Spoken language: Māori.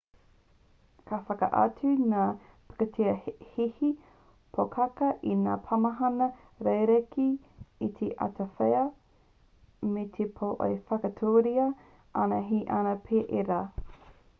ka whakaatu ngā pikitia hihi pōkākā i ngā pāmahana rerekē i te awatea me te pō e whakaaturia ana he ana pea ērā